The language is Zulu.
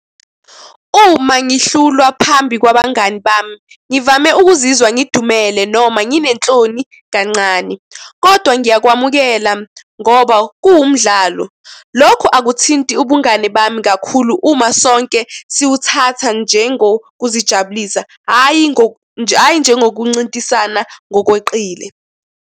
Uma ngihlulwa phambi kwabangani bami ngivame ukuzizwa ngidumele noma nginenhloni kancane, kodwa ngiyakwamukela ngoba kuwumdlalo. Lokhu akuthinti ubungani bami kakhulu uma sonke siwuthatha njengokuzijabulisa, hhayi, hhayi, njengokuncintisana ngokweqile.